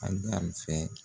Agari fɛ